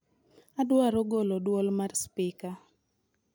Adwaro golo dwol mar spika